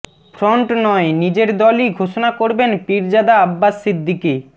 front নয় নিজের দলই ঘোষণা করবেন পিরজাদা আব্বাস সিদ্দিকি